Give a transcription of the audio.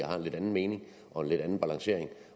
har en lidt anden mening og en lidt anden balancering